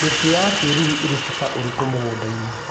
Mĩtĩ ya kĩruru ĩrĩ bata ũrĩkũ mũgundainĩ.